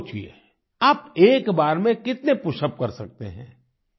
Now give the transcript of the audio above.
अब सोचिए आप एक बार में कितने पशअप्स कर सकते हैं